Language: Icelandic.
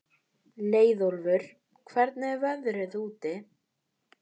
Leiðólfur, hvernig er veðrið úti?